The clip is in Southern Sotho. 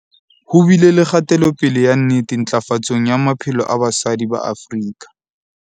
Ho bile le kgatelopele ya nnete ntlafatsong ya maphelo a basadi ba Afrika